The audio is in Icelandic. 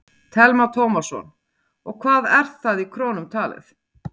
Telma Tómasson: Og hvað er það í krónum talið?